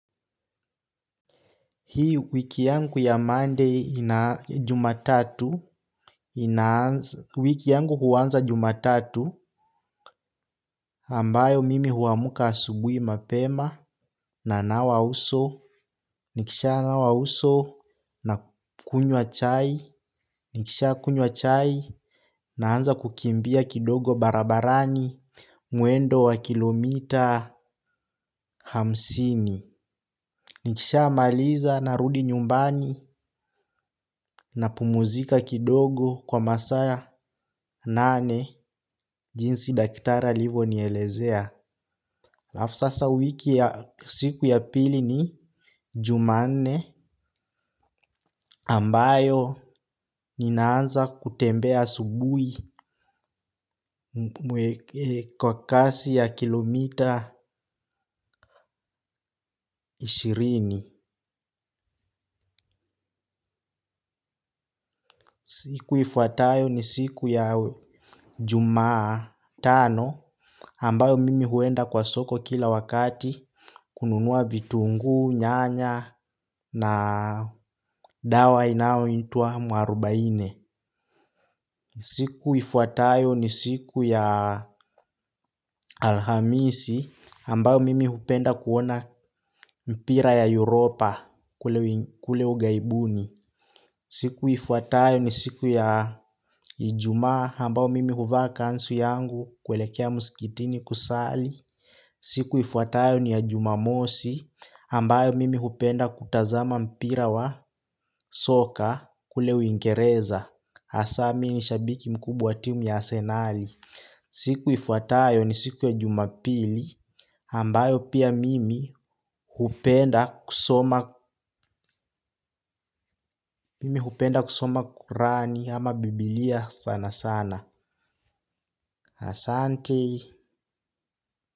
Hii wiki yangu ya Monday ina jumatatu, wiki yangu huanza jumatatu ambayo mimi huamka asubuhi mapema nanawa uso, nikisha nawa uso nakunywa chai, nikisha kunywa chai naanza kukimbia kidogo barabarani mwendo wa kilomita hamsini. Nikishamaliza narudi nyumbani napumzika kidogo kwa masaa nane, jinsi daktari alivyonielezea. Halafu sasa wiki ya siku ya pili ni Jumanne ambayo ninaanza kutembea asubuhi kwa kasi ya kilomita ishirini. Siku ifuatayo ni siku ya jumatano, ambayo mimi huenda kwa soko kila wakati kununua vitunguu, nyanya na dawa inayoitwa mwarubaine. Siku ifuatayo ni siku ya alhamisi ambayo mimi hupenda kuona mpira ya Europa kule ughaibuni. Siku ifuatayo ni siku ya Ijumaa ambayo mimi huvaa kanzu yangu kuelekea msikitini kusali. Siku ifuatayo ni ya jumamosi ambayo mimi hupenda kutazama mpira wa soka kule Uingereza. Hasa mi ni shabiki mkubwa wa timu ya Arsenali. Siku ifuatayo ni siku ya jumapili, ambayo pia mimi mimi hupenda kusoma. Mimi hupenda kusoma kurani ama biblia sana sana. Asante.